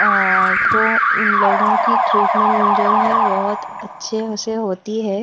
और तो इन लोगों की ट्रीटमेंट जो है बहुत अच्छे से होती है।